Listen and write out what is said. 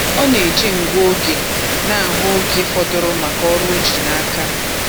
Ọ na-eji ngụ oge na-ahụ oge fọdụrụ maka ọrụ o ji n'aka.